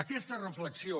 aquesta reflexió